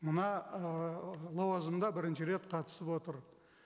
мына ыыы лауазымда бірінші рет қатысып отыр